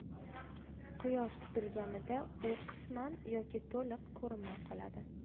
Quyosh tutilganida u qisman yoki to‘liq ko‘rinmay qoladi.